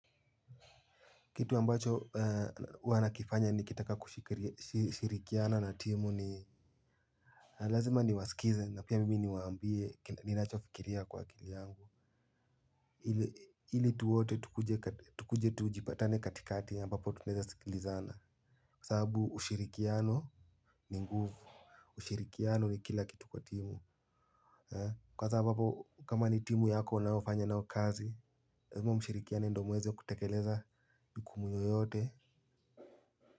Kitu ambacho huwa nakifanya nikitaka kushirikiana na timu ni lazima niwasikize na pia mimi niwaambie ninachofikiria kwa akili yangu. Hili tu wote tukuje tujipatane katikati ambapo tunaweza sikilizana. Kwa sababu ushirikiano ni nguvu ushirikiano ni kila kitu kwa timu. Kwanza ambapo kama ni timu yako unayofanya nayo kazi lazima mshirikiane ndo muweze kutekeleza majukumu yoyote.